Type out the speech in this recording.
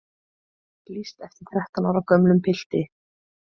Lýst eftir þrettán ára gömlum pilti